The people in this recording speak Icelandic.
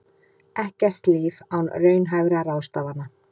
Ekkert líf án raunhæfra ráðstafana